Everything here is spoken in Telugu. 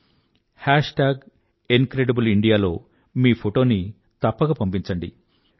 ఇంక్రిడిబ్లెయిండియా హ్యాష్ టాగ్ ఇంక్రిడిబ్లెయిండియా లో మీ ఫోటోని తప్పక పంపించండి